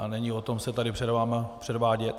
A není o tom se tady před vámi předvádět.